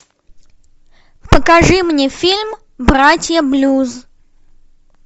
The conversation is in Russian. покажи мне фильм братья блюз